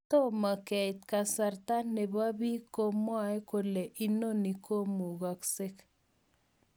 Tomang keit kasarta nepo pik komwae kole noni komukasek.